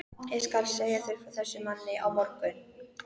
Ég skal segja þér frá þessum manni á morgun.